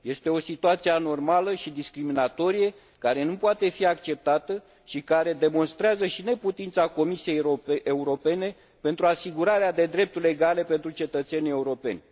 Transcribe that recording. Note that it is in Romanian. Este o situație anormală și discriminatorie, care nu poate fi acceptată și care demonstrează și neputința Comisiei Europene pentru asigurarea de drepturi egale pentru cetățenii europeni.